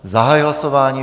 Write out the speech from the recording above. Zahajuji hlasování.